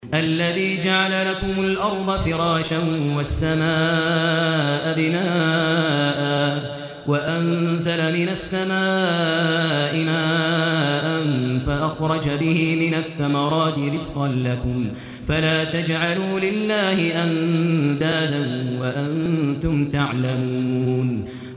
الَّذِي جَعَلَ لَكُمُ الْأَرْضَ فِرَاشًا وَالسَّمَاءَ بِنَاءً وَأَنزَلَ مِنَ السَّمَاءِ مَاءً فَأَخْرَجَ بِهِ مِنَ الثَّمَرَاتِ رِزْقًا لَّكُمْ ۖ فَلَا تَجْعَلُوا لِلَّهِ أَندَادًا وَأَنتُمْ تَعْلَمُونَ